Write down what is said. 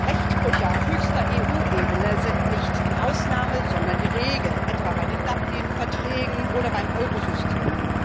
Rechtsbrüche auf höchster EU Ebene sind nicht die Ausnahme, sondern die Regel etwa bei den Dublin Verträgen oder beim Eurosystem.